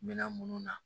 Minɛn munnu na